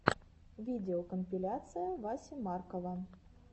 видеокомпиляция васи маркова